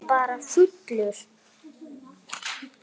Eða bara fullur.